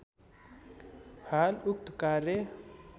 हाल उक्त कार्य